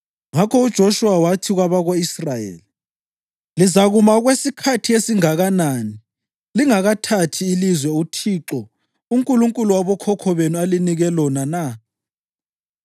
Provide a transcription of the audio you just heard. Ngakho uJoshuwa wathi kwabako-Israyeli, “Lizakuma okwesikhathi esingakanani lingakathathi ilizwe uThixo, uNkulunkulu wabokhokho benu alinike lona na?